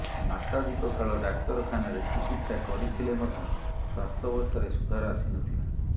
ମାସାଧିକ କାଳ ଡାକ୍ତରଖାନରେ ଚିକିତ୍ସା କରିଥିଲେ ମଧ୍ୟ ସ୍ୱାସ୍ଥ୍ୟବସ୍ଥାରେ ସୁଧାର ଆସି ନଥିଲା